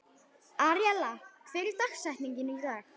Aríella, hver er dagsetningin í dag?